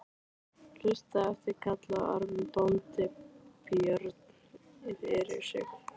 Haustið eftir kallaði Ormur bóndi Björn fyrir sig.